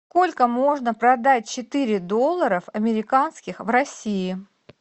сколько можно продать четыре долларов американских в россии